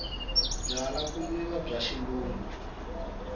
byalwa ku nwiwa bya xilungu